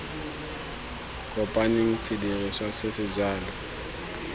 kopaneng sedirisiwa se se jalo